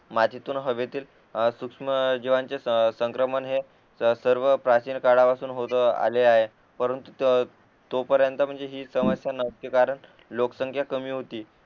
मातीतून हवेतील सूक्ष्म जीवांचे संक्रमण हे सर्व प्राचीन काळापासून होत आलेले आहे परंतु तो पर्यंत हि समस्या नव्हती कारण लोकसंख्या कमी होती